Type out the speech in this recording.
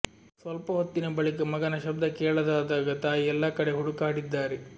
ಸ್ವಲ್ಪ ಹೊತ್ತಿನ ಬಳಿಕ ಮಗನ ಶಬ್ಧ ಕೇಳದಾದಾಗ ತಾಯಿ ಎಲ್ಲಾ ಕಡೆ ಹುಡುಕಾಡಿದ್ದಾರೆ